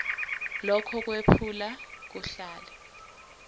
lokho kwephula kuhlale